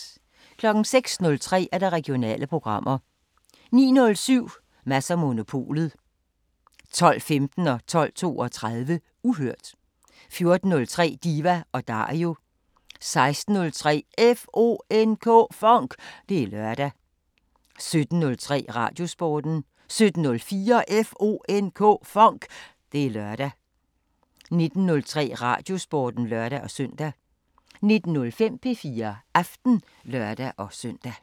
06:03: Regionale programmer 09:07: Mads & Monopolet 12:15: Uhørt 12:32: Uhørt 14:03: Diva & Dario 16:03: FONK! Det er lørdag 17:03: Radiosporten 17:04: FONK! Det er lørdag 19:03: Radiosporten (lør-søn) 19:05: P4 Aften (lør-søn)